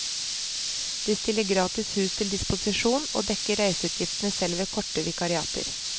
De stiller gratis hus til disposisjon, og dekker reiseutgiftene selv ved korte vikariater.